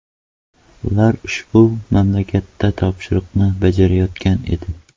Ular ushbu mamlakatda topshiriqni bajarayotgan edi.